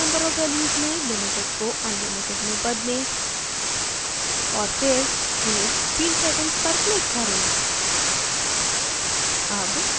allowed number of values में limited को unlimited में बदलें और फिर save field settings पर click करें